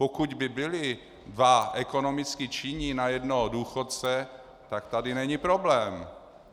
Pokud by byli dva ekonomicky činní na jednoho důchodce, tak tady není problém.